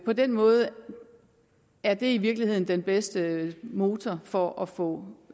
på den måde er det i virkeligheden den bedste motor for at få